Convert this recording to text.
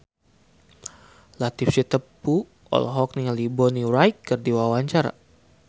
Latief Sitepu olohok ningali Bonnie Wright keur diwawancara